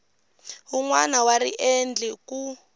wun wana wa riendli ku